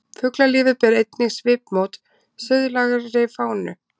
Fuglalífið ber einnig svipmót suðlægari fánu.